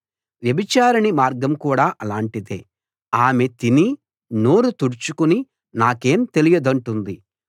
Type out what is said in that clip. వ్యభిచారిణి మార్గం కూడా అలాటిదే ఆమె తిని నోరు తుడుచుకుని నాకేం తెలియదంటుంది